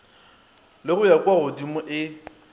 le go ya kuagodimo e